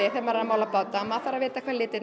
að mála báta vita hvað